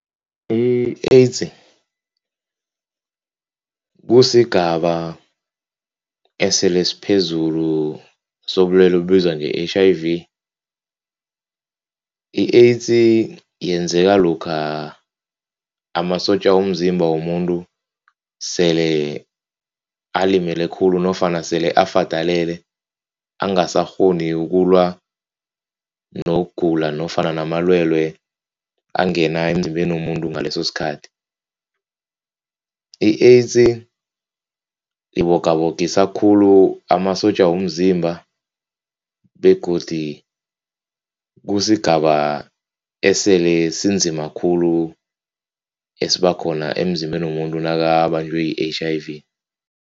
I-AIDS kusigaba esele siphezulu sobulelwe obubizwa nge-H_I_V. I-AIDS yenzeka lokha amasotja womzimba womuntu sele alimele khulu nofana sele afadalele, angasakghoni ukulwa nokugula nofana namalwelwe angena emzimbeni womuntu ngaleso sikhathi. I-AIDS ibogabogisa khulu amasotja womzimba begodi kusigaba esele sinzima khulu esibakhona emzimbeni womuntu nakabanjwe yi-H_I_V.